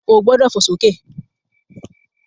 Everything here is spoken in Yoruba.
O gbọ́dọ̀ fò sókè!